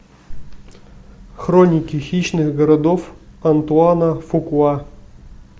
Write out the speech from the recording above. хроники хищных городов антуана фукуа